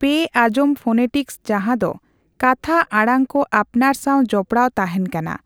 ᱯᱮ ᱟᱸᱜᱡᱚᱢ ᱯᱷᱳᱱᱮᱴᱤᱠᱥ ᱡᱟᱦᱟᱸ ᱫᱚ ᱠᱟᱛᱷᱟ ᱟᱲᱟᱝᱠᱚ ᱟᱯᱱᱟᱨ ᱥᱟᱣ ᱡᱚᱯᱚᱲᱟᱣ ᱛᱟᱦᱮᱸᱱ ᱠᱟᱱᱟ